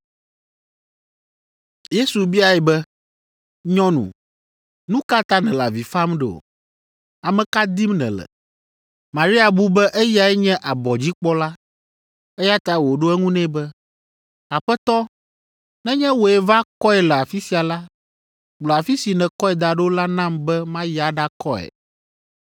Yesu biae be, “Nyɔnu, nu ka ta nèle avi fam ɖo? Ame ka dim nèle?” Maria bu be eyae nye abɔdzikpɔla, eya ta wòɖo eŋu nɛ be, “Aƒetɔ, nenye wòe va kɔe le afi sia la, gblɔ afi si nèkɔe da ɖo la nam be mayi aɖakɔe.”